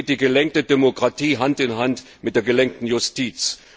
So geht die gelenkte Demokratie Hand in Hand mit der gelenkten Justiz.